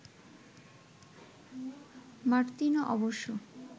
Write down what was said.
Martino অবশ্য